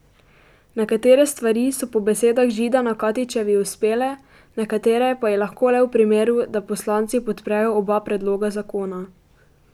Nekatere stvari so po besedah Židana Katičevi uspele, nekatere pa ji lahko le v primeru, da poslanci podprejo oba predloga zakona.